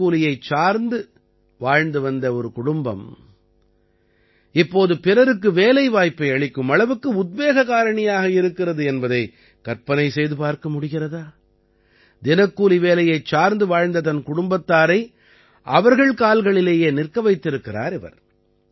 தினக்கூலியைச் சார்ந்து வாழ்ந்து வந்த ஒரு குடும்பம் இப்போது பிறருக்கு வேலைவாய்ப்பை அளிக்கும் அளவுக்கு உத்வேக காரணியாக இருக்கிறது என்பதை கற்பனை செய்து பார்க்க முடிகிறதா தினக்கூலி வேலையைச் சார்ந்து வாழ்ந்த தன் குடும்பத்தாரை அவர்கள் கால்களிலேயே நிற்க வைத்திருக்கிறார் இவர்